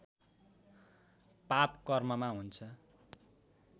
पाप कर्ममा हुन्छ